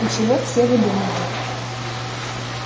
и чего все выдумывают